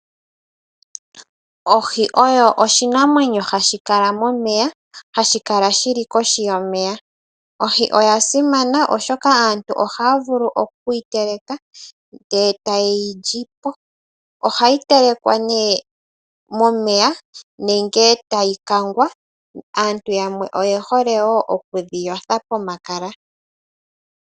Ohi osho oshinamwenyo hashikala momeya hashikala shili kohi yomeya, ohi oyasimana oshoka aantu ohayavulu okuyiteleka ndele etayeyilipo, ohayi telekwa momeya nenge tayikangwa, aantu yamwe oyehole okudhiyotha pomakala.